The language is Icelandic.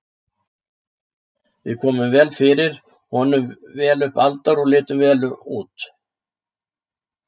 Við komum vel fyrir, vorum vel upp aldar og litum vel út.